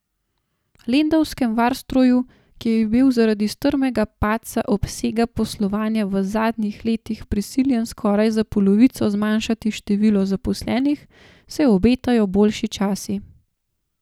Lendavskemu Varstroju, ki je bil zaradi strmega padca obsega poslovanja v zadnjih letih prisiljen skoraj za polovico zmanjšati število zaposlenih, se obetajo boljši časi.